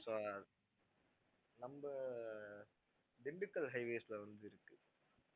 so நம்ம Dindigul highways ல வந்து இருக்கு